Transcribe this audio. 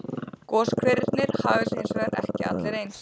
Goshverirnir haga sér hins vegar ekki allir eins.